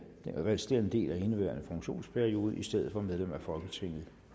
resterende del af indeværende funktionsperiode i stedet for medlem af folketinget